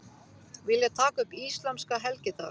Vilja taka upp íslamska helgidaga